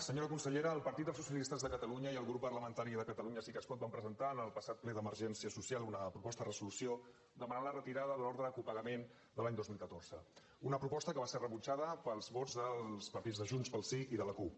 senyora consellera el partit dels socialistes de catalunya i el grup parlamentari de catalunya sí que es pot vam presentar en el passat ple d’emergència social una proposta de resolució per demanar la retirada de l’ordre de copagament de l’any dos mil catorze una proposta que va ser rebutjada pels vots dels partits de junts pel sí i de la cup